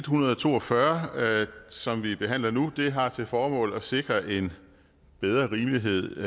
hundrede og to og fyrre som vi behandler nu har til formål at sikre en bedre rimelighed